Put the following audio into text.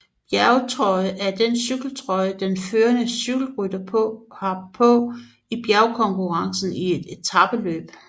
Bjergtrøje er den cykeltrøje den førende cykelrytter har på i bjergkonkurrencen i et etapeløb